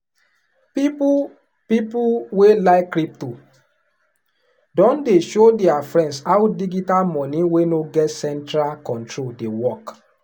people people wey like crypto don dey show their friends how digital money wey no get central control dey work.